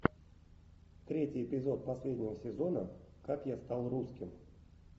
третий эпизод последнего сезона как я стал русским